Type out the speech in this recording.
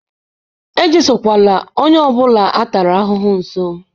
ejesokwala onye ọ bụla a tara ahụhụ nso!